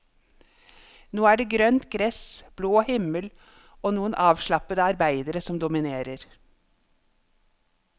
Nå er det grønt gress, blå himmel og noen avslappede arbeidere som dominerer.